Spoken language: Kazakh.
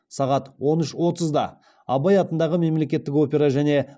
сағат он үш отызда абай атындағы қазақ мемлекеттік опера және